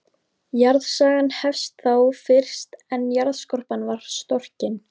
Jarðsagan hefst þá fyrst er jarðskorpan varð storkin.